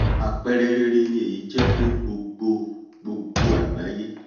àpẹrẹ rere ni èyí jẹ́ fún gbogbo gbogbo àgbáyé